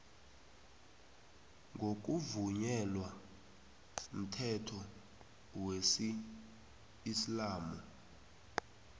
ngokuvunyelwa mthetho wesiislamu